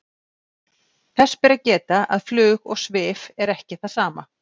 þess ber að geta að flug og svif er ekki það sama